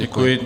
Děkuji.